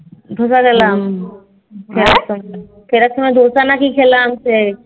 ফেরার সময় ধোসা না কি খেলাম সেই